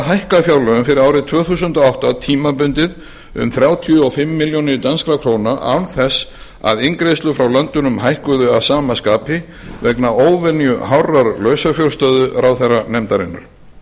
hækka fjárlögin fyrir árið tvö þúsund og átta tímabundið um þrjátíu og fimm milljónir danskra króna án þess að inngreiðslur frá löndunum hækkuðu að sama skapi vegna óvenju hárrar lausafjárstöðu ráðherranefndarinnar